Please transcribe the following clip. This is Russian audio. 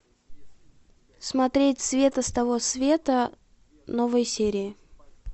смотреть света с того света новые серии